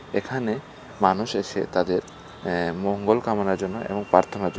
এখানে মানুষ এসে তাদের এ মঙ্গল কামনার জন্য এবং প্রার্থনার জ--